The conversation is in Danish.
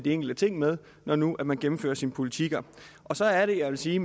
enkelte ting med når nu man gennemfører sin politik så er det jeg vil sige